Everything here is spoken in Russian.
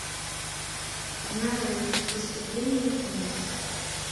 нарой выступление ученого